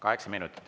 Kaheksa minutit.